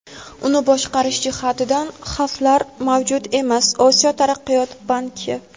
uni boshqarish jihatidan xavflar mavjud emas – Osiyo taraqqiyot banki.